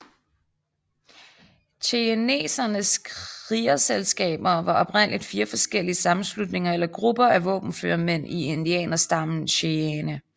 Cheyennernes krigerselskaber var oprindeligt fire forskellige sammenslutninger eller grupper af våbenføre mænd i indianerstammen cheyenne